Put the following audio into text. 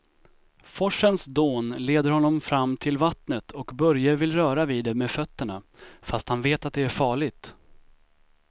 Forsens dån leder honom fram till vattnet och Börje vill röra vid det med fötterna, fast han vet att det är farligt.